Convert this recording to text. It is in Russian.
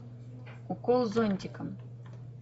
укол зонтиком